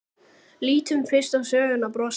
Lítum fyrst á sögnina brosa